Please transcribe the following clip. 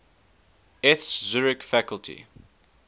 eth zurich faculty